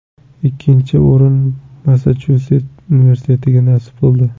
Ikkinchi o‘rin Massachusets universitetiga nasib qildi.